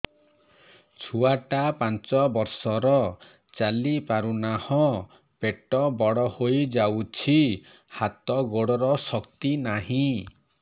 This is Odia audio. ଛୁଆଟା ପାଞ୍ଚ ବର୍ଷର ଚାଲି ପାରୁନାହଁ ପେଟ ବଡ ହୋଇ ଯାଉଛି ହାତ ଗୋଡ଼ର ଶକ୍ତି ନାହିଁ